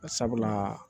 Barisabula